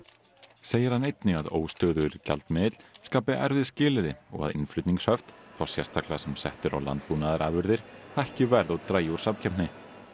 segir hann einnig að óstöðugur gjaldmiðill skapi erfið skilyrði og að innflutningshöft þá sérstaklega sem sett eru á landbúnaðarafurðir hækki verð og dragi úr samkeppni